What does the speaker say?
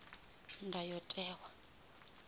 ndayotewa